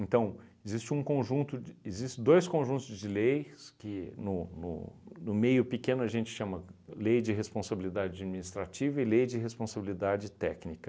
existe um conjunto de existe dois conjuntos de leis que no no no meio pequeno a gente chama Lei de Responsabilidade Administrativa e Lei de Responsabilidade Técnica.